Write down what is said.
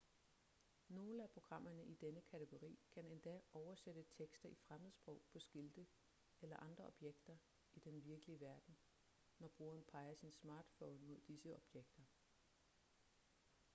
nogle af programmerne i denne kategori kan endda oversætte tekster i fremmedsprog på skilte eller andre objekter i den virkelige verden når brugeren peger sin smartphone mod disse objekter